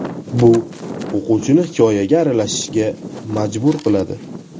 Bu o‘quvchini hikoyaga aralashishga majbur qiladi.